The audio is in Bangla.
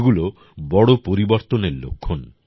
এগুলো বড় পরিবর্তনের লক্ষণ